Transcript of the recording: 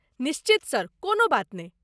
निश्चित सर, कोनो बात नै ।